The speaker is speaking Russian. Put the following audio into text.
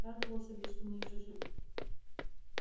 радовался бы что мы ещё живы